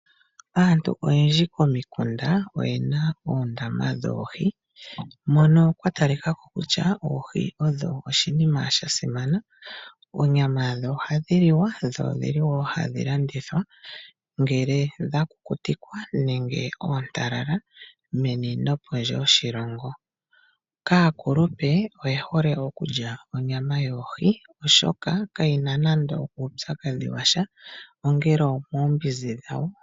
Aantu oyendji komikunda oyena oondama dhoohi mono kwa talikako kutya oohi odho oshinima sha simana, onyama yadho ohadhi liwa dho odhili wo hadhi landithwa ngele dha kukutikwa nenge oontalala meni no pondje yoshilongo. Aakulupe oye hole okulya onyama yoohi oshoka kayina nando uupyakadhi washa, ongele omoombinzi dhawo.